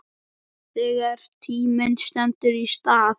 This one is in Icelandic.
Þegar tíminn stendur í stað